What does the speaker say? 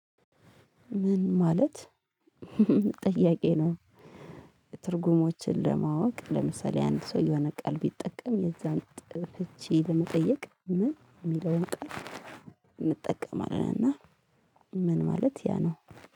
ምን ማለት ጥያቄ ነው? ትርጉሞችን ለማወቅ ለምሳሌ ያን ሰው የሆነ ቃል ቢጠቀም የዛን ጥርቼ ለመጠየቅ ምን የሚለውን ቃል እና ምን ማለት ያ ነው